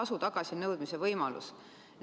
tasu tagasinõudmise võimalus.